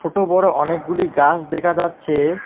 ছোট বড় অনেকগুলি গাস দেখা যাচ্ছে।